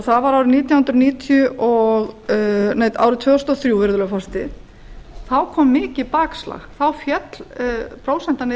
það var árið tvö þúsund og þrjú virðulegi forseti þá kom mikið bakslag þá féll prósentan niður